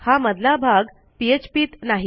हा मधला भागphpत नाही